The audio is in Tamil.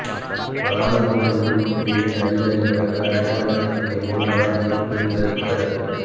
வலான மோசடி ஒழிப்புப் பிரிவின் அதிகாரிகளாக அடையாளப்படுத்திய மூவரால் இரு பெண்கள் கடத்தல்